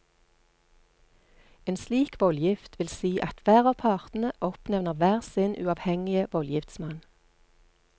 En slik voldgift vil si at hver av partene oppnevner hver sin uavhengige voldgiftsmann.